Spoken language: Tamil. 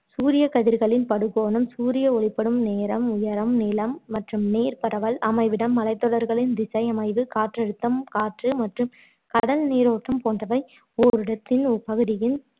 சூரியக்கதிர்களின் படுகோணம் சூரிய ஒளிப்படும் நேரம் உயரம் நிலம் மற்றும் நீர் பரவல் அமைவிடம் மலைத்தொடர்களின் திசை அமைவு காற்றழுத்தம் காற்று மற்றும் கடல் நீரோட்டம் போன்றவை ஓரிடத்தின் ஒரு பகுதியின்